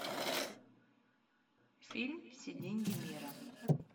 фильм все деньги мира